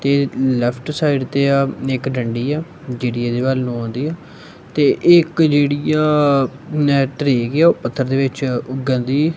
ਤੇ left side ਤੇ ਆ ਇੱਕ ਡੰਡੀ ਆ ਜਿਹੜੀ ਇਹਦੇ ਵੱਲ ਨੂੰ ਆਉਂਦੀ ਆ ਤੇ ਇੱਕ ਜਿਹੜੀ ਆ ਧਰੇਕ ਆ ਉਹ ਪੱਥਰ ਦੇ ਵਿੱਚ ਉੱਗਣ ਦੀ--